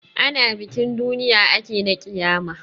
Ana bikin duniya ake na ƙiyama.